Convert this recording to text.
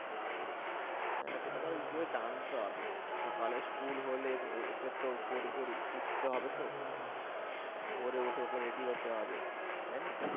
হ্যাঁ সেটা তো আবার গিয়ে জানতে হবে সকালে school হলে ওকে তো ভোর ভোর উঠতে হবে তো ভোরে উঠে ওকে ready হতে হবে তাইনা?